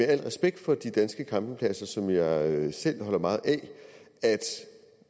al respekt for de danske campingpladser som jeg selv holder meget af at